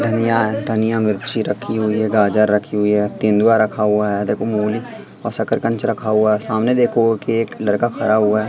धनिया है धनिया मिर्ची रखी हुई है गाजर रखी हुई है तेंदुआ रखा हुआ है देखो मूली और शकरकंद रखा हुआ है सामने देखो एक लड़का खरा हुआ है।